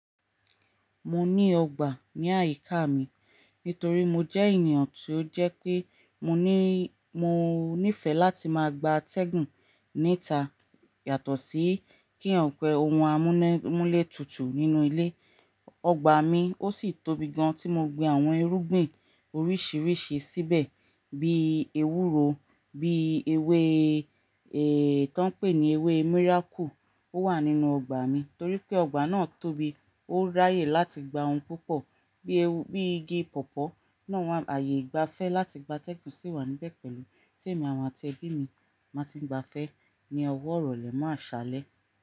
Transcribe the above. Mo ní ọgbà ní àyíká mi nítorí mo jẹ́ ènìyàn tí ó jẹ́ pé mo ní, mo nífẹ̀ẹ́ láti máa gba atẹ́gùn níta yàtọ̀ sí kí yàn pe ohun amúnẹ́múlẹ̀ tútù nínú ilé. Ogbà mi ó sì tóbi gan tí mo gbin àwọn irúgbìn oríṣiríṣi síbẹ̀ bí ewúro, bí ewé èè tó ń pè ní ewé miracle. Ó wà nínú ọgbà mi torí pé ọgbà náà tóbi ó ráyè láti gba ohun púpọ̀ bí, bí igi pọ̀pọ́ náà wà. Ààyè ìgbafẹ́ láti gba tẹ́gùn sì wà níbẹ̀ pẹ̀lú tí èmi àti ẹbí mi máa ti ń gba fẹ́ ní ọwọ́ ọ̀rọ̀ lè máa ṣálẹ̀